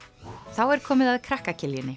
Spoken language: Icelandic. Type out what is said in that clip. þá er komið að krakka